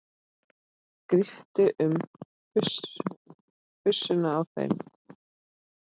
Gríptu um pussuna á þeim.